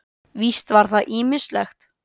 Víst var það ýmislegt.